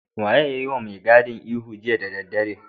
Wanene ya yiwa mai gadin ihu jiya da daddare?